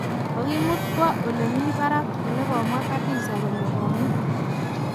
kokimut kwo ole mi barak ole komwa Khadiza kole kome.